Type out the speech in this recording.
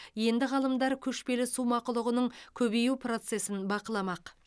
енді ғалымдар көшпелі су мақұлығының көбею процесін бақыламақ